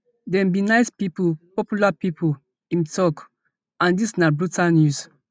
dem be nice pipo popular pipo im tok and dis na brutal news